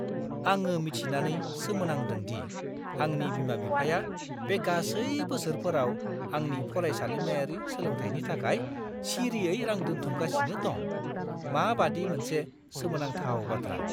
आङो मिथिनानै सोमोनांदों दि आंनि बिमा-बिफाया बे गासै बोसोरफोराव आंनि फरायसालिमायारि सोलोंथायनि थाखाय सिरियै रां दोनथुमगासिनो दं। माबादि मोनसे सोमोनांथाव बाथ्रा!